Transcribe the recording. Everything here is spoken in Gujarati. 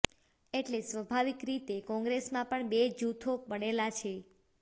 એટલે સ્વભાવિક રીતે કોંગ્રેસમાં પણ બે જૂથો પડેલાં છે